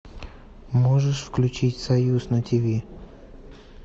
можешь включить союз на тиви